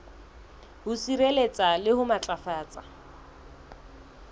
ho sireletsa le ho matlafatsa